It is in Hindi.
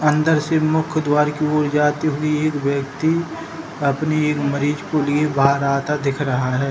अंदर से मुख द्वार की ओर जाते हुए एक व्यक्ति अपने एक मरीज़ को लिए बाहर आता दिख रहा है।